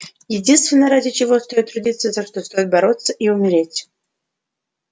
единственное ради чего стоит трудиться за что стоит бороться и умереть